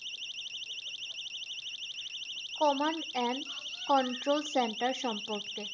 Command and control centre সম্পর্কে।